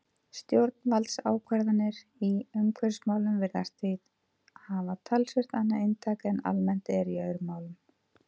Stjórnvaldsákvarðanir í umhverfismálum virðast því hafa talsvert annað inntak en almennt er í öðrum málum.